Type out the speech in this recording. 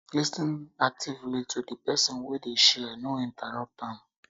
lis ten actively to di person wey dey share no interrupt am